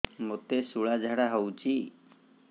ମୋତେ ଶୂଳା ଝାଡ଼ା ହଉଚି